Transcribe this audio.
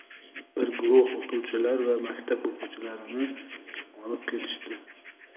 bir guruh o‘qituvchilar va maktab o‘quvchilarini olib ketishdi.